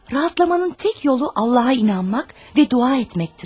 Rahatlamağın tək yolu Allaha inanmaq və dua etməkdir.